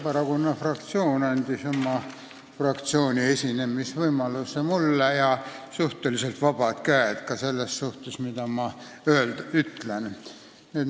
Vabaerakonna fraktsioon andis oma fraktsiooni esinemisvõimaluse mulle ja suhteliselt vabad käed ka selles suhtes, mida ma ütlen.